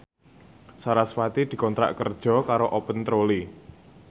sarasvati dikontrak kerja karo Open Trolley